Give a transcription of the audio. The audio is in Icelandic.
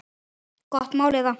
Gott mál eða?